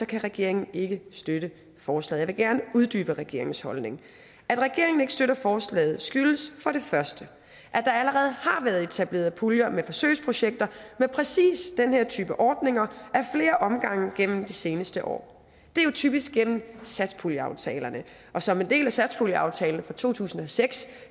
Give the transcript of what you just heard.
kan regeringen ikke støtte forslaget jeg vil gerne uddybe regeringens holdning at regeringen ikke støtter forslaget skyldes for det første at der allerede har været etableret puljer med forsøgsprojekter med præcis den her type ordninger ad flere omgange gennem de seneste år det er jo typisk gennem satspuljeaftalerne og som en del af satspuljeaftalen for to tusind og seks